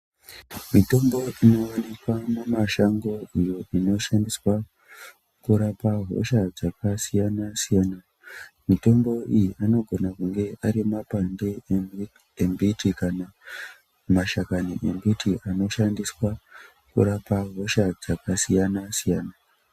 Mitombo inoonekwa mimashango iyo inoshandiswa kurapa hosha dzakasiyana siyana mitombo iyi inogona kunge ari mapande embiti kana mashakani embiti anoshandiswa kurapa hosha dzakasiyana siyana.